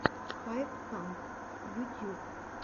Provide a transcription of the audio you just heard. хайп камп ютьюб